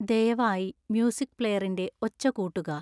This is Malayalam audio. ദയവായി മ്യൂസിക് പ്ലെയറിൻ്റെ ഒച്ച കൂട്ടുക